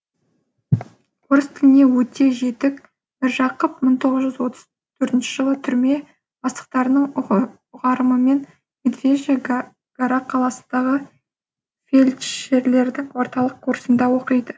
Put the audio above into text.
орыс тіліне өте жетік міржақып мың тоғыз жүз отыз бірінші жылы түрме бастықтарының ұйғарымымен медвежья гора қаласындағы фельдшерлердің орталық курсында оқиды